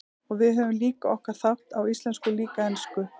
Og við höfum líka okkar þátt, á íslensku og líka ensku.